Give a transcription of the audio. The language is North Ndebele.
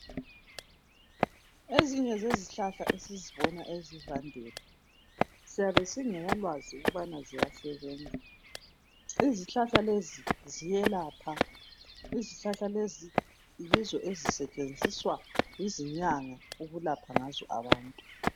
Ezinye zezihlahla esizibona esivandeni siyabe singelalwazi ukubana ziyasebenza. Izihlahla lezi ziyelapha yizo ezisetshenziswa yizinyanga ukulapha ngazi abantu.